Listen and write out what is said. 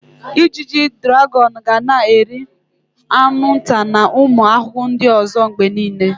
Ijiji draghon ga na-eri anwụnta na ụmụ ahụhụ ndị ọzọ mgbe niile.